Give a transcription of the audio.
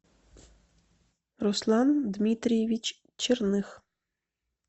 руслан дмитриевич черных